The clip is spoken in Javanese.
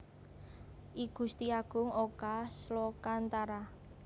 I Gusti Agung Oka Slokantara